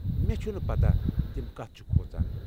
مےٚ چھنہٕ پتہ تِم کتھ چھِ کھوژان۔